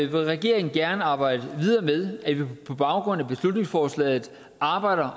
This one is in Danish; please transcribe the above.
vil regeringen gerne arbejde videre med at vi på baggrund af beslutningsforslaget arbejder